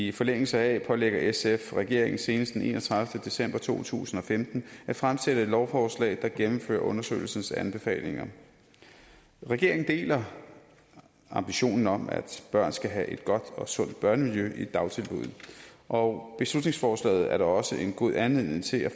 i forlængelse heraf pålægger sf regeringen senest den enogtredivete december to tusind og femten at fremsætte et lovforslag der gennemfører undersøgelsens anbefalinger regeringen deler ambitionen om at børn skal have et godt og sundt børnemiljø i dagtilbuddene og beslutningsforslaget er da også en god anledning til at